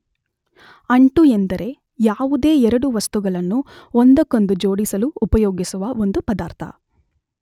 ಅಂಟು ಎಂದರೆ ಯಾವುದೇ ಎರಡು ವಸ್ತುಗಳನ್ನು ಒಂದಕ್ಕೊಂದು ಜೋಡಿಸಲು ಉಪಯೋಗಿಸುವ ಒಂದು ಪದಾರ್ಥ.